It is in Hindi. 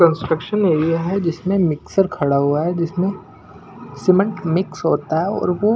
कंस्ट्रक्शन एरिया हैजिसमें मिक्सर खड़ा हुआ है जिसमें सीमेंट मिक्स होता है और वो--